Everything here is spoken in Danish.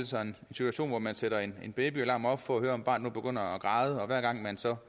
sig en situation hvor man sætter en babyalarm op for at kunne høre om barnet græder og hver gang man så